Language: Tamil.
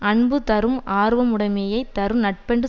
அன்பு தரும் ஆர்வமுடைமையை தரும் நட்பென்று